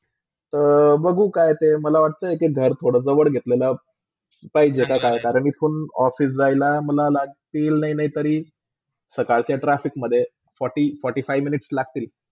अ बघू काय ते, मला वाटते के घर थोडा जवळ घेतलेला पाहिजे काय कारण ईथुन office जा याला. मला लागते नए -नए तरी सकालच्या मधे forty, forty-five minutes लाग्तील